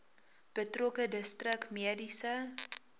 betrokke distrik mediese